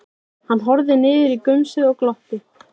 Hann horfði niður í gumsið og glotti.